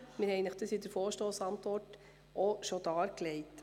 Das wurde Ihnen in der Vorstossantwort bereits dargelegt.